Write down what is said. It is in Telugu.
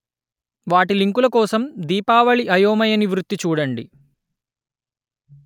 వాటి లింకుల కోసం దీపావళి అయోమయ నివృత్తి చూడండి